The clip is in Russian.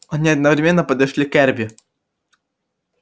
они одновременно подошли к эрби